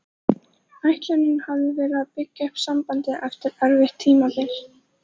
Ætlunin hafði verið að byggja upp sambandið eftir erfitt tímabil.